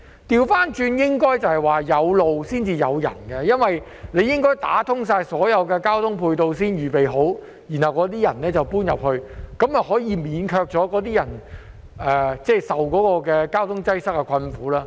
相反，應該是"有路才有人"，因為政府應該打通所有交通配套，先預備好，然後才讓市民遷入，這樣便可免卻居民承受交通擠塞之苦。